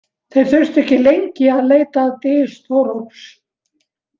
Þeir þurftu ekki lengi að leita að dys Þórólfs.